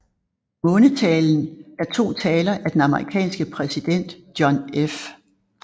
Månetalen er to taler af den amerikanske præsident John F